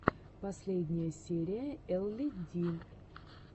последняя серия элли ди